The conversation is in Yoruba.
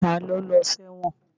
Ta ló lọ sẹ́wọ̀n?